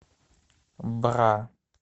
бра